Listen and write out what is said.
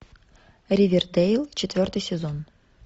ривердейл четвертый сезон